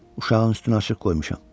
Uşağın üstünü açıq qoymuşam.